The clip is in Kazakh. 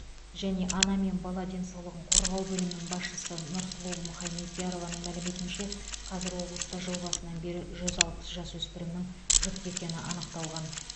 және ана мен бала денсаулығын қорғау бөлімінің басшысы нұрсұлу мұхамедиярованың мәліметінше қазір облыста жыл басынан бері жүз алпыс жасөспірімнің жүкті екені анықталған